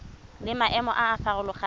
le maemo a a farologaneng